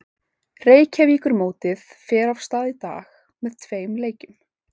Reykjavíkurmótið fer af stað í dag með tveim leikjum.